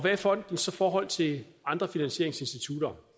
er fondens forhold til andre finansieringsinstitutter